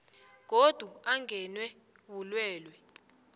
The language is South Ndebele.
godu angenwe bulwelwe